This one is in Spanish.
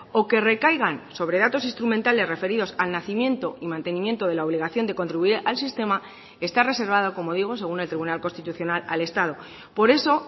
o que recaigan sobre datos instrumentales referidos al nacimiento y mantenimiento de la obligación de contribuir al sistema está reservado como digo según el tribunal constitucional al estado por eso